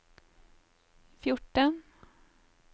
fjorten